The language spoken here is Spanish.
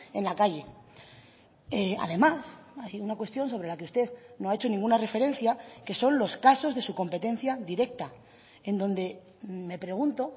en la calle además hay una cuestión sobre la que usted no ha hecho ninguna referencia que son los casos de su competencia directa en donde me pregunto